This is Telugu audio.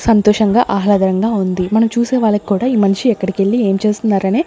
సంతోషంగా ఆహ్లాదరంగా ఉంది మనం చూసే వాళ్ళకూడ ఈ మనిషి ఎక్కడికెళ్ళి ఏం చేస్తున్నారనే